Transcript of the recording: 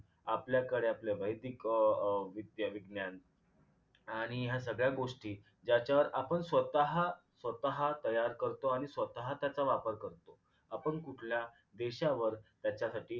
आपल्याकडे आपले वैदिक अं अं वैदिक विज्ञान आणि ह्या सगळ्या गोष्टी ज्याच्यावर आपण स्वतः स्वतः तैयार करतो आणि स्वतः त्याचा वापर करतो आपण कुठल्या देशावर त्याच्यासाठी